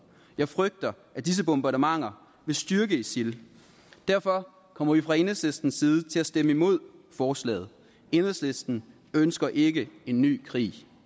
jeg frygter at disse bombardementer vil styrke isil derfor kommer vi fra enhedslistens side til at stemme imod forslaget enhedslisten ønsker ikke en ny krig